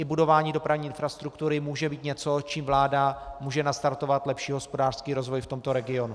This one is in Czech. I budování dopravní infrastruktury může být něco, čím vláda může nastartovat lepší hospodářský rozvoj v tomto regionu.